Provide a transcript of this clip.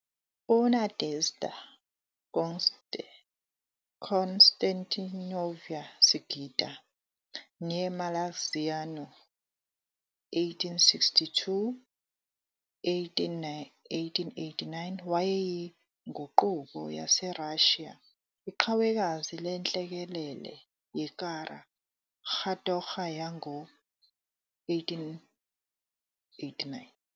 UNadezhda Konstantinovna Sigida, née Malaxiano, 1862-1889. wayeyinguquko yaseRussia, iqhawekazi lenhlekelele yeKara katorga yango -1889.